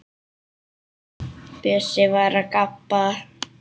Bjössi var að gabba.